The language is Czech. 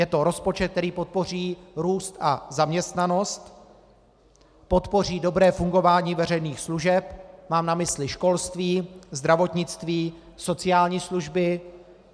Je to rozpočet, který podpoří růst a zaměstnanost, podpoří dobré fungování veřejných služeb - mám na mysli školství, zdravotnictví, sociální služby.